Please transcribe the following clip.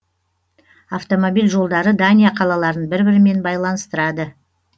автомобил жолдары дания қалаларын бір бірімен байланыстырады